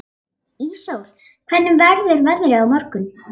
Íssól, hvernig verður veðrið á morgun?